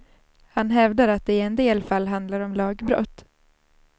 Han hävdar att det i en del fall handlar om lagbrott.